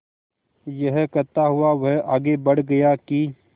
यह कहता हुआ वह आगे बढ़ गया कि